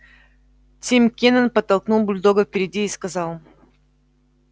тим кинен подтолкнул бульдога вперёд и сказал